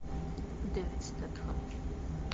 дэвид стетхем